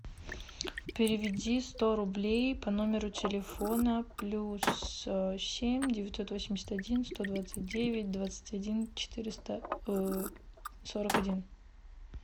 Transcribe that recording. переведи сто рублей по номеру телефона плюс семь девятьсот восемьдесят один сто двадцать девять двадцать один четыреста сорок один